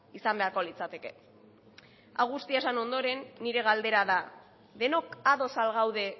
izan beharko litzateke hau guztia esan ondoren nire galdera da denok ados al gaude